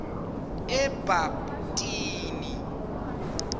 ebabtini